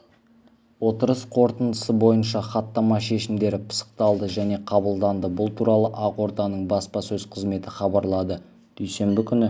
отырыс қорытындысы бойынша хаттама шешімдері пысықталды және қабылданды бұл туралы ақорданың баспасөз қызметі хабарлады дүйсенбі күні